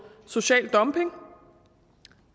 social dumping